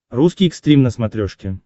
русский экстрим на смотрешке